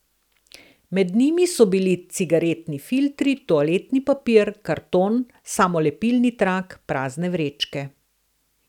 Med njimi so bili cigaretni filtri, toaletni papir, karton, samolepilni trak, prazne vrečke ...